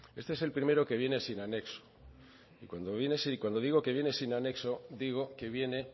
este es el primero que viene sin anexo y cuando digo que viene sin anexo digo que viene